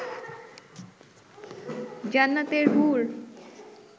জান্নাতের হুর